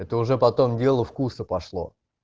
это уже потом дело вкуса пошло